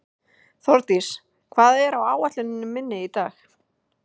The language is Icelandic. Þórdís, hvað er á áætluninni minni í dag?